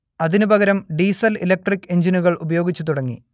അതിനുപകരം diesel electric എഞ്ചിനുകൾ ഉപയോഗിച്ചു തുടങ്ങി